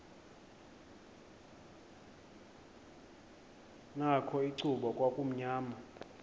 nakho icuba kwakumnyama